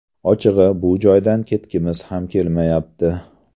Ochig‘i, bu joydan ketgimiz ham kelmayapti.